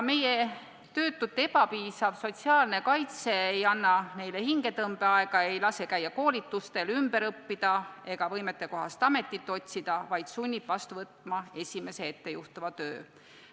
Meie töötute ebapiisav sotsiaalne kaitse ei anne neile hingetõmbeaega, ei lase käia koolitustel, ümber õppida ega võimetekohast ametit otsida, vaid sunnib vastu võtma esimese ette juhtuva töö.